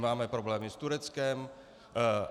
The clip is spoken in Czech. Máme problémy s Tureckem.